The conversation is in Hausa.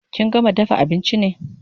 Kin gama dafa abinchi ne?